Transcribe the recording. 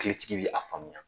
Hakilitigi bɛ a faamuya